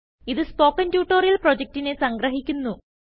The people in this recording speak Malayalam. ഇതു സ്പോകെൻ ട്യൂട്ടോറിയൽ പ്രൊജക്റ്റിനെ സംഗ്രഹിക്കുന്നു